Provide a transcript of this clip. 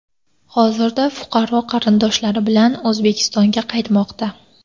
Hozirda fuqaro qarindoshlari bilan O‘zbekistonga qaytmoqda.